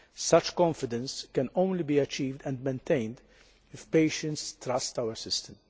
such confidence can only be achieved and maintained if patients trust our system.